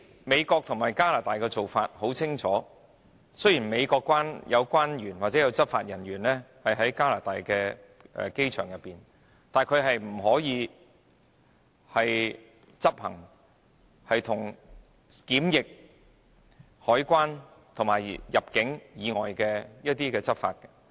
美國和加拿大的做法是很清楚的，雖然美國關員或執法人員會在加拿大的機場執勤，但他們不能執行與檢疫、海關和入境工作無關的執法工作。